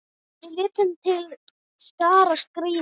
Við létum til skarar skríða.